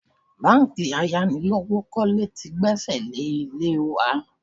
Báńkì ayánilówókọ́lé tí gbẹ́sẹ̀ lé ilé wa